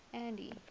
andy